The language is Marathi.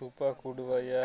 रूपा कुडवा या